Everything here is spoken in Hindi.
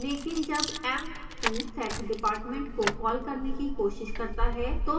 लेकिन जब emp2 setdepartment को कॉल करने की कोशिश करता है तो हमें एक error प्राप्त होती है